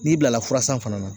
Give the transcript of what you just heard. N'i bilala fura san fana na